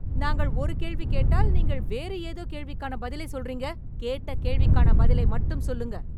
நாங்கள் ஒரு கேள்வி கேட்டால் நீங்கள் வேறு ஏதோ கேள்விக்கான பதிலை சொல்றீங்க? கேட்ட கேள்விக்கான பதிலை மட்டும் சொல்லுங்க.